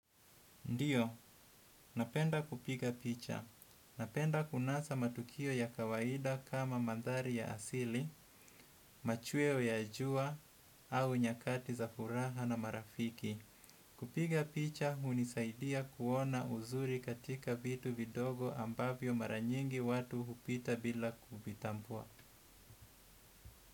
Ndio, napenda kupiga picha. Napenda kunasa matukio ya kawaida kama mandhari ya asili, machweo ya jua au nyakati za furaha na marafiki. Kupiga picha hunisaidia kuona uzuri katika vitu vidogo ambavyo mara nyingi watu hupita bila kuvitambua.